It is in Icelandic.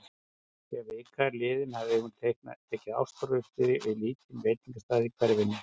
Þegar vika var liðin hafði hún tekið ástfóstri við lítinn veitingastað í hverfinu.